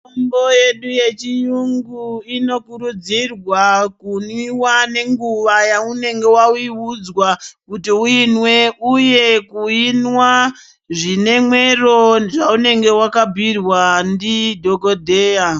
Fundo yedu yechiyungu inokurudzirwa kunwiwa nenguwa yaunenge waiudzwa kuti uimwe uye kuinwa zvine mwero zvaunenge wakabhiirwa ndidhokodheya.